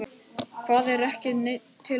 Hvað er ekki til neins?